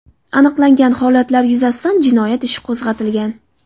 Aniqlangan holatlar yuzasidan jinoyat ishi qo‘zg‘atilgan.